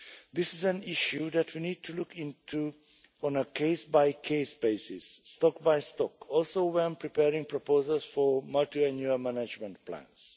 This is an issue that we need to look into on a case-by-case basis, stock by stock, also when preparing proposals for multiannual management plans.